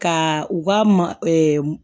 Ka u ka ma